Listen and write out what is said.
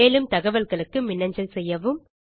மேலும் தகவல்களுக்கு மின்னஞ்சல் செய்யவும்